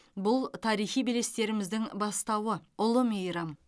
бұл тарихи белестеріміздің бастауы ұлы мейрам